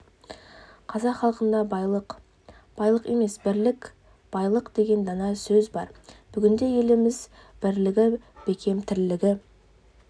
қазақ халқында байлық байлық емес бірлік байлық деген дана сөз бар бүгінде еліміз бірлігі бекем тірлігі